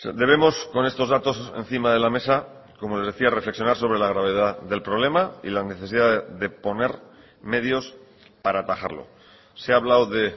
debemos con estos datos encima de la mesa como les decía reflexionar sobre la gravedad del problema y la necesidad de poner medios para atajarlo se ha hablado de